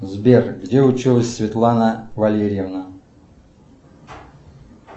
сбер где училась светлана валерьевна